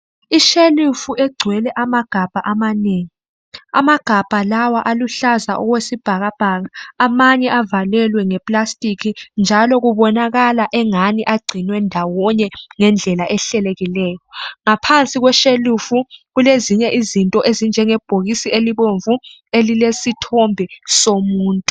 Ishelufu egcwele amagabha amanengi. Amagabha lawa aluhlaza okwesibhakabhaka. Amanye avalelwe ngeplastic njalo kubonakala engani agciwe ndawonye ngendlela ehlelekileyo. Ngaphansi kweshelufu kulezinye izinto okunjenge bhokisi elibomvu elilesithombe somuntu.